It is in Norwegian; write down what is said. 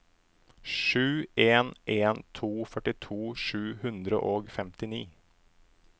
sju en en to førtito sju hundre og femtini